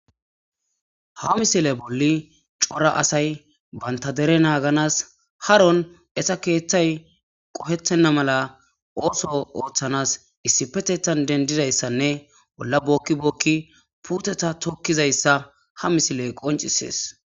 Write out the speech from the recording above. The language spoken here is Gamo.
Ha misile bolli cora asay banta dere naaganas haron esa keeththay qohettenna mala ooso ooththanas issipetetan dendidayssanne bolla bookki bookki puuteta tokkizayssa ha misile qoncisees.